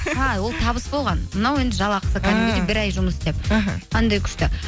а ол табыс болған мынау енді жалақысы бір ай жұмыс істеп іхі қандай күшті